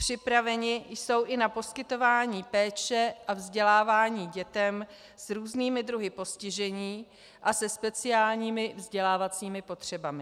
Připraveny jsou i na poskytování péče a vzdělávání dětem s různými druhy postižení a se speciálními vzdělávacími potřebami.